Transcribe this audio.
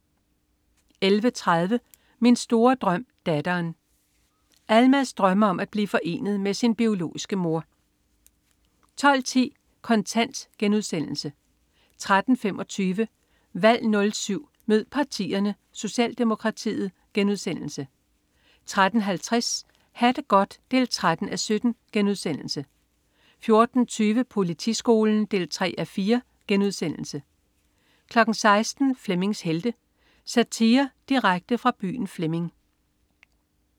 11.30 Min store drøm. Datteren. Almaz drømmer om at blive forenet med sin biologiske mor 12.10 Kontant* 13.25 Valg 07 mød partierne: Socialdemokratiet* 13.50 Ha' det godt 13:17* 14.20 Politiskolen 3:4* 16.00 Flemmings Helte. Satire direkte fra byen Flemming